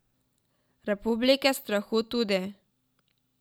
Republike strahu tudi.